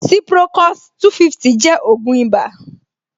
Ciprocos-250 jẹ́ ògùn ìbà